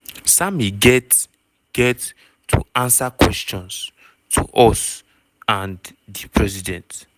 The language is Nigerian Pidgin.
sammy get get to answer questions to us and di president."